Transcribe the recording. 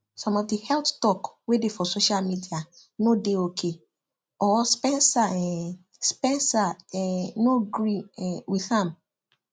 some of the heath talk wey dey for social media no dey ok or spencer um spencer um no gree um with am